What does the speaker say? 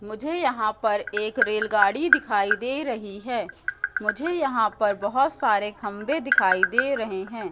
मुझे यहाँ पर एक रेल गाड़ी दिखाई दे रही है मुझे यहाँ पर बहोत सारे खम्बे दिखाई दे रहे है।